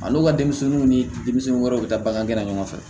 A n'u ka denmisɛnninw ni denmisɛnnin wɛrɛw bɛ taa bagangɛn na ɲɔgɔn fɛ